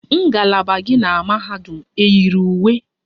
Ngalaba gị na mahadum eyiri uwe?